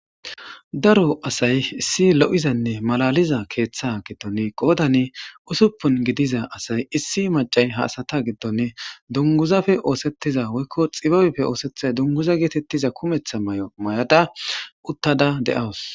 Daro asay issi lo'izanne malaliza keeththa giddone qoodani usuppun gidiza asay issi macay haasata giddone dunguzafe oosettiza woykko xibabepfe oosethay dunguza geetettiza kumetha may'o mayada uttada de'awus.